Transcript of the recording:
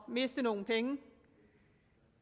miste nogle penge